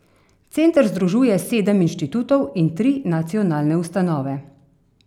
Center združuje sedem inštitutov in tri nacionalne ustanove.